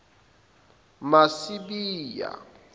masibiya